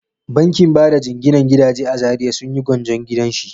Bankin bada jinginan gidaje a Zariya sun yi gwanjon gidan shi.